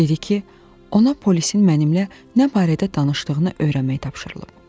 Dedi ki, ona polisin mənimlə nə barədə danışdığını öyrənmək tapşırılıb.